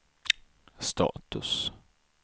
status